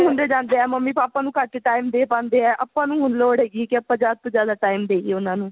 ਹੁੰਦੇ ਜਾਂਦੇ ਹੈ mummy papa ਨੂੰ ਘੱਟ time ਦੇ ਪਾਂਦੇ ਹੈ ਆਪਾਂ ਨੂੰ ਹੁਣ ਲੋੜ ਹੈਗੀ ਕੀ ਆਪਾਂ ਜਿਆਦਾ ਤੋਂ ਜਿਆਦਾ time ਦਈਏ ਉਹਨਾ ਨੂੰ